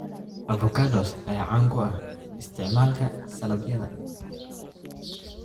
Avocados ayaa caan ku ah isticmaalka saladhyada.